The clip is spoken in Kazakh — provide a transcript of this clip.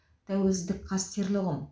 тәуелсіздік қастерлі ұғым